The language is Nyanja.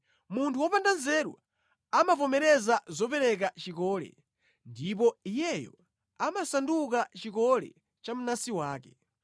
Munthu wopanda nzeru amavomereza zopereka chikole ndipo iyeyo amasanduka chikole cha mnansi wake.